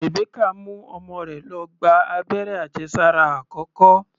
Rebecca mú ọmọ rẹ̀ lọ gba abẹ́rẹ́ àjẹsára àkọ́kọ́.